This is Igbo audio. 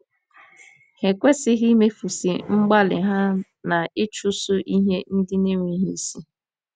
Ha ekwesịghị imefusị mgbalị ha n'ịchụso ihe ndị na-enweghị isi.